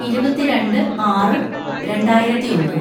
ഇരുപത്തിരണ്ട് ആറ് രണ്ടായിരത്തിയൊന്ന്‌